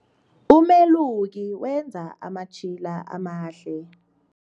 Umeluki wenza amatjhila amahle.